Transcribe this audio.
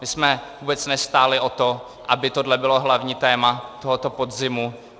My jsme vůbec nestáli o to, aby tohle bylo hlavní téma tohoto podzimu.